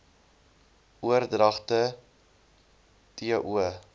oordragte t o